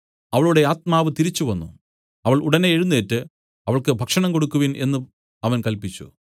അവളുടെ ആത്മാവ് തിരിച്ചുവന്നു അവൾ ഉടനെ എഴുന്നേറ്റ് അവൾക്ക് ഭക്ഷണം കൊടുക്കുവിൻ എന്നു അവൻ കല്പിച്ചു